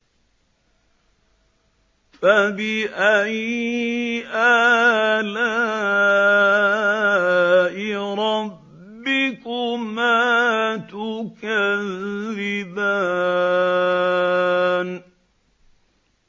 فَبِأَيِّ آلَاءِ رَبِّكُمَا تُكَذِّبَانِ